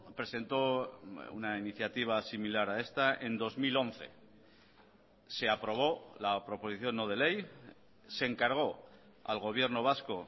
presentó una iniciativa similar a esta en dos mil once se aprobó la proposición no de ley se encargó al gobierno vasco